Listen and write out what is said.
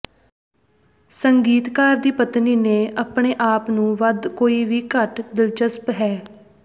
ਸੰਗੀਤਕਾਰ ਦੀ ਪਤਨੀ ਨੇ ਆਪਣੇ ਆਪ ਨੂੰ ਵੱਧ ਕੋਈ ਵੀ ਘੱਟ ਦਿਲਚਸਪ ਹੈ